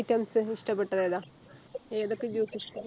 Items ഇഷ്ട്ടപ്പെട്ടതേതാ ഏതൊക്കെ Juice ഇഷ്ട്ട